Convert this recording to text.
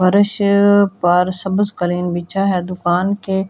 फ़रश पर सब्ज कलीन बिछा है दुकान की --